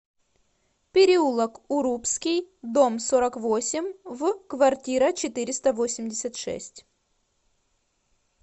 переулок урупский дом сорок восемь в квартира четыреста восемьдесят шесть